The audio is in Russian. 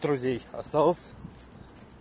друзей осталось